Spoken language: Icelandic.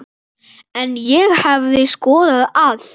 En ég hefði skoðað allt.